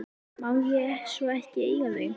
Má ég svo ekki eiga þau?